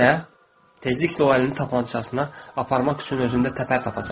tezliklə o əlini tapançasına aparmaq üçün özündə təpər tapacaq.